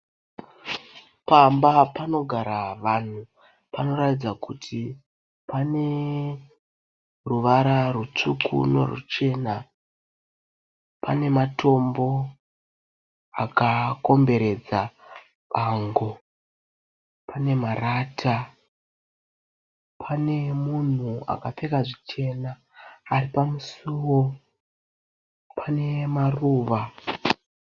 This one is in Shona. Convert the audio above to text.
pamba panogaravanhu panoratidzakuti paneruvara rusvuku neruchena, panematombo akakomberedza bango , panemarata, panemunhu akpfeka zvichena aripamusuwo, panemaruva.